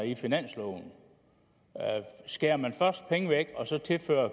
i finansloven skærer man først penge væk og så tilfører